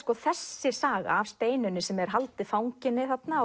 þessi saga af Steinunni sem er haldið fanginni þarna